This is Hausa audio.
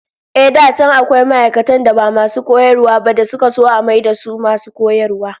Ehh, da can akwai ma'aikatan da ba masu koyarwa ba da suka so a mayar da su masu koyarwa